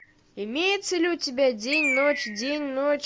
имеется ли у тебя день ночь день ночь